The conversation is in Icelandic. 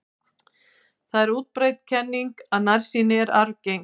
Það er útbreidd kenning að nærsýni sé arfgeng.